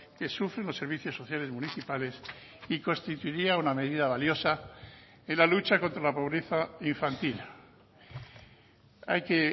que sufren los servicios sociales municipales y constituiría una medida valiosa en la lucha contra la pobreza infantil hay que